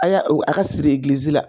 A y'a a ka siri egilizi la.